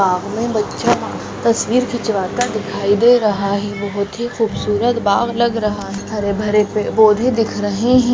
सामने बच्चा तस्वीर खिंचवाता दिखाई दे रहा है बहुत ही खूबसूरत बाग़ लग रहा है हरे भरे पेड पौधे दिख रहे है।